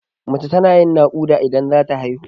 Mace tana yin naƙuda idan zata haihu.